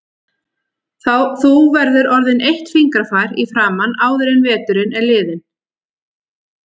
Þú verður orðin eitt fingrafar í framan áður en veturinn er liðinn